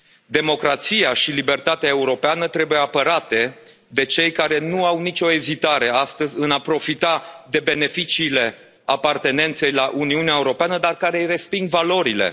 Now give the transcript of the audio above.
Democrația și libertatea europeană trebuie apărate de cei care nu au nicio ezitare astăzi în a profita de beneficiile apartenenței la Uniunea Europeană, dar care îi resping valorile.